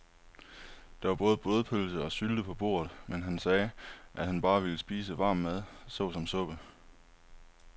Der var både blodpølse og sylte på bordet, men han sagde, at han bare ville spise varm mad såsom suppe.